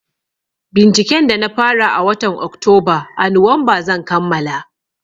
Binciken da na fara a watan Oktoba a Nuwamba zan kammala.